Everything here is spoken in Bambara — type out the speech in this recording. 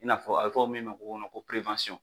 I n'a fɔ a be fɔ min ma k'o kɔnɔ ko perewansɔn